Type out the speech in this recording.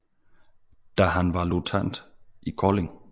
Da var han løjtnant i Kolding